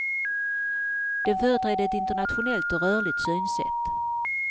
Den företrädde ett internationellt och rörligt synsätt.